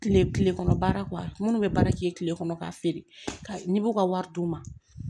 Kile kile kɔnɔ baara minnu bɛ baara kɛ kile kɔnɔ k'a feere ka n'i b'u ka wari d'u ma